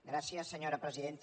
gràcies senyora presidenta